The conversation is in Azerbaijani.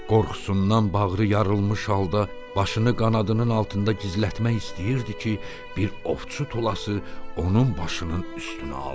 Qorxusundan bağrı yarılmış halda başını qanadının altında gizlətmək istəyirdi ki, bir ovçu tulası onun başının üstünə aldı.